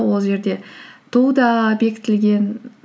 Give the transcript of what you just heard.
ол жерде ту да бекітілген